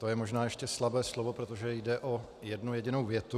To je možná ještě slabé slovo, protože jde o jednu jedinou větu.